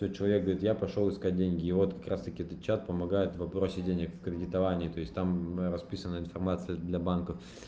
то человек говорит я пошёл искать деньги и вот как раз таки этот чат помогает в вопросе денег в кредитовании то есть там расписана информация для банка